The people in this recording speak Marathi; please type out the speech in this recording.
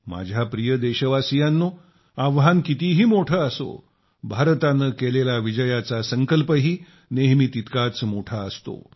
माझ्या प्रिय देशवासियांनो आव्हान कितीही मोठं असो भारतानं केलेला विजयाचा संकल्पही नेहमी तितकाच मोठा असतो